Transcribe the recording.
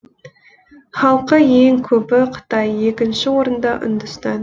халқы ең көбі қытай екінші орында үндістан